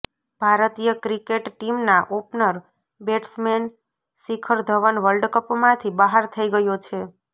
ભારતીય ક્રિકેટ ટીમના opener batsman Shikhar Dhawan વર્લ્ડકપમાંથી બહાર થઈ ગયો છે